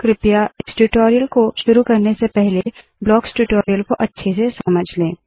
कृपया इस ट्यूटोरियल को शुरू करने से पहले ब्लॉक्स ट्यूटोरियल को अच्छे से समझ ले